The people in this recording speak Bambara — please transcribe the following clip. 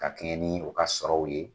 Ka kɛɲɛ nin u ka sɔrɔw ye